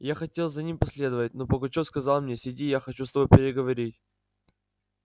я хотел за ними последовать но пугачёв сказал мне сиди я хочу с тобою переговорить